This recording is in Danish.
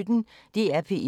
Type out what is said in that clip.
DR P1